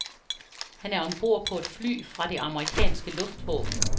Han er om bord på et fly fra det amerikanske luftvåben.